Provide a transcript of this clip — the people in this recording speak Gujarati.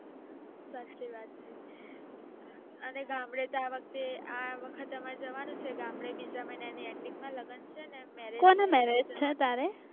સાચી વાત છે અને ગામડે તો આ વખત એ ગામડે આમરે જવાનું છે ગામડે બીજા મહિના નાઅંત માં લગન છે ને લગ્ન છે ને